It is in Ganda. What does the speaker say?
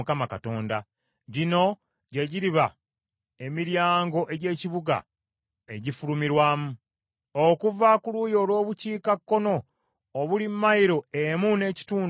“Gino gye giriba emiryango egy’ekibuga egifulumirwamu: “Okuva ku luuyi olw’Obukiikakkono, obuli mayilo emu n’ekitundu obuwanvu,